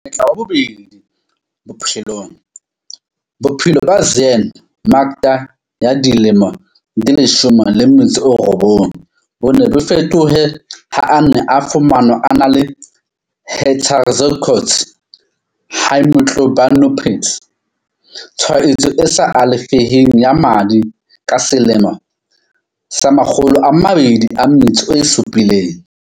Monyetla wa bobedi bophelongBophelo ba Zyaan Makda ya dilemo di 19 bo ne bo fetohe ha a ne a fumanwa a na le heterozygote haemoglobinopathy, tshwaetso e sa alafeheng ya madi ka selemo sa 2007.